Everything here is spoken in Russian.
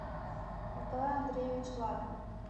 николай андреевич лапин